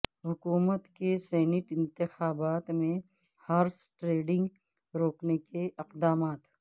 حکومت کے سینٹ انتخابات میں ہارس ٹریڈنگ روکنے کے اقدامات